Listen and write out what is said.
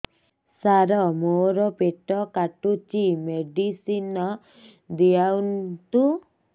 ସାର ମୋର ପେଟ କାଟୁଚି ମେଡିସିନ ଦିଆଉନ୍ତୁ